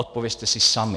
Odpovězte si sami.